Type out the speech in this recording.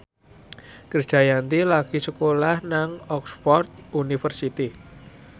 Krisdayanti lagi sekolah nang Oxford university